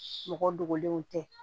Mɔgɔ dogolenw tɛ